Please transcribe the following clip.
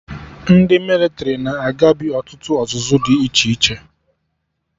Ndị mịlịtrị na-agabi ọtụtụ ọzụzụ dị iche iche